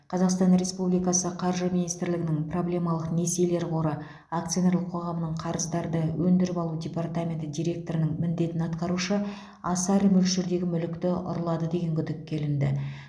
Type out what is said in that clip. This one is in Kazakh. қазақстан республикасы қаржы министрлігінің проблемалық несиелер қоры акционерлік қоғамының қарыздарды өндіріп алу департаменті директорының міндетін атқарушы аса ірі мөлшердегі мүлікті ұрлады деген күдікке ілінді